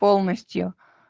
полностью